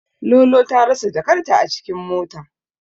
Lolo ta rasa jakarta a cikin mota.